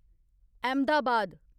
Ahmedabad